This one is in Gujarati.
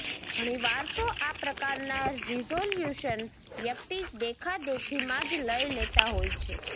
ઘણીવાર તો આ પ્રકારના રિઝોલ્યુશન વ્યક્તિ દેખાદેખીમાં જ લઇ લેતા હોય છે